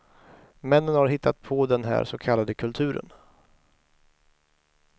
Männen har hittat på den här så kallade kulturen.